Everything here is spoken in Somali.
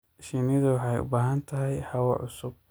Shinnidu waxay u baahan tahay hawo cusub.